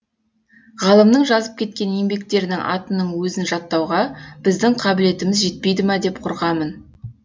ғалымның жазып кеткен еңбектерінің атының өзін жаттауға біздің қабілетіміз жетпейді ма деп қорқамын